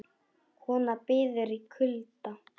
Kona bíður í kulda